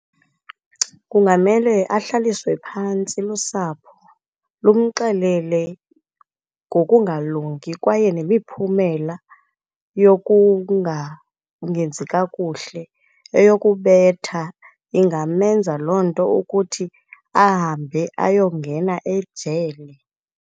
Kungamele ahlaliswe phantsi lusapho lumxelele ngokungalungi kwaye nemiphumela yokungangenzi kakuhle, eyokubetha ingamenza loo nto ukuthi ahambe ayongena ejele.